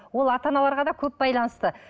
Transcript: ол ата аналарға да көп байланысты